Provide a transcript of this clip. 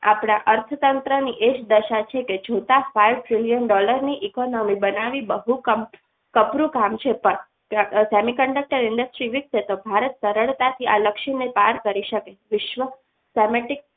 આપણા અર્થતંત્રની એ જ દશા છે કે જોતા ફાઈવ trillion dollar ની economy મી બનાવી બધું જ કપડું જ કામ છે પણ semiconductor industry વિકસે તો ભારત સરળતાથી આ લક્ષ્યને પ્રાપ્ત કરી શકે વિશ્વ